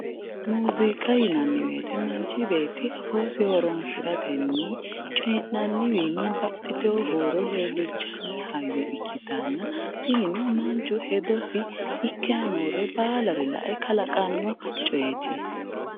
Muziiqa yinnanni woyte manchi beetti afoosi horonsiratenni coyi'nanniwinni baxxitino huuro leelinshanni hayyo ikkittanna tinino manchu hedosi ikkayi noore baallare lae qalaqano coyiti.